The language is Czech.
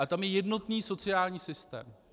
Ale tam je jednotný sociální systém.